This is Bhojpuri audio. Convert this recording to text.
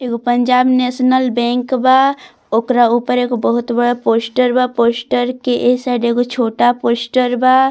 एगो पंजाब नेशनल बैंक बा। ओकरा ऊपर एगो बहुत बड़ा पोस्टर बा पोस्टर के ए साइड एगो छोटा पोस्टर ।